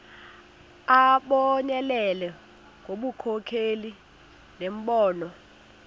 abonelele ngobunkokheli nembono